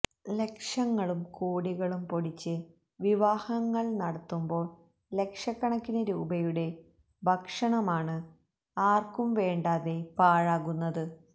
ലക്ഷങ്ങളും കോടികളും പൊടിച്ച് വിവാഹങ്ങള് നടത്തുമ്പോള് ലക്ഷക്കണക്കിന് രൂപയുടെ ഭക്ഷണമാണ് ആര്ക്കും വേണ്ടാതെ പാഴാകുന്നത്